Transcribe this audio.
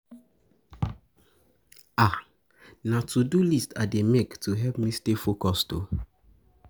Na to-do list I dey make to help me stay focused.